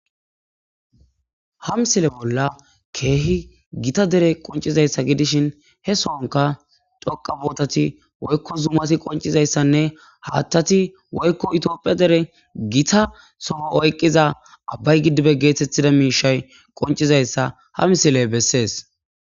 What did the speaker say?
ha misile bolla keehi gita dere qoncizayssa gidishin he sonka dhoqa bootati woykko zumati qoncizayssanne haattati woykko itiophiya dere gita sofo oyqqiza abbay gidibe geethettida miishay qoncizayssa ha misiley bessees